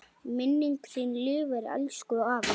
Minning þín lifir, elsku afi.